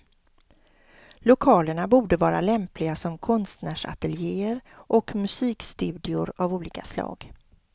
Lokalerna borde vara lämpliga som konstnärsateljéer och musikstudior av olika slag.